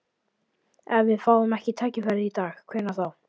Ef við fáum ekki tækifærið í dag, hvenær þá?